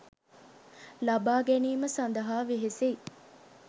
ලබා ගැනීම සඳහා වෙහෙසෙයි.